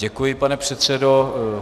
Děkuji, pane předsedo.